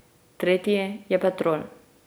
Tretji je Petrol ...